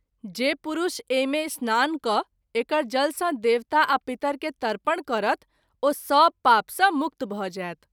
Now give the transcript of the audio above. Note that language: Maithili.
जे पुरष एहि मे स्नान क’ एकर जल सँ देवता आ पितर के तर्पण करत ओ सभ पाप सँ मुक्त भ’ जाएत।